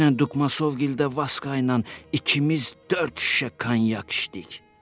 Dünən Dukmasovgildə Vaska ilə ikimiz dörd şüşə kanyak içdik.